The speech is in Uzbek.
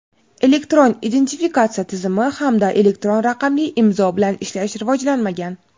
Elektron identifikatsiya tizimi hamda elektron raqamli imzo bilan ishlash rivojlanmagan.